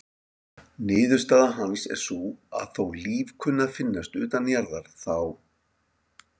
Niðurstaða hans er sú að þó líf kunni að finnast utan jarðar þá:.